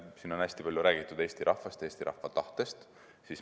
Siin on hästi palju räägitud Eesti rahvast, Eesti rahva tahtest.